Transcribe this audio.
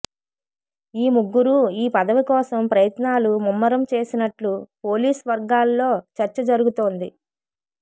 ఈ ముగ్గురూ ఈ పదవి కోసం ప్రయత్నాలు ముమ్మరం చేసినట్లు పోలీస్ వర్గాల్లో చర్చ జరుగుతోంది